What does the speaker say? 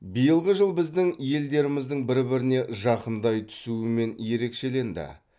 биылғы жыл біздің елдеріміздің бір біріне жақындай түсуімен ерекшеленді